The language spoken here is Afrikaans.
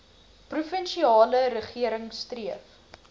provinsiale regering streef